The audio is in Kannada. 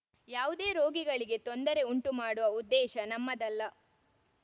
ಯಾವುದೇ ರೋಗಿಗಳಿಗೆ ತೊಂದರೆ ಉಂಟು ಮಾಡುವ ಉದ್ದೇಶ ನಮ್ಮದಲ್ಲ